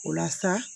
O la sa